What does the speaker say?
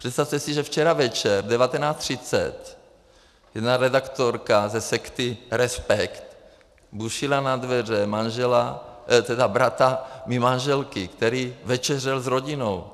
Přestavte si, že včera večer v 19.30 jedna redaktorka ze sekty Respekt bušila na dveře bratra mé manželky, který večeřel s rodinou.